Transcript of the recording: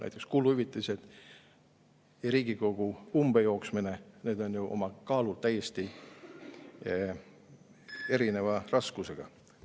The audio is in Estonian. Näiteks kuluhüvitised ja Riigikogu umbe jooksmine – need on ju kaalult täiesti erineva raskusega.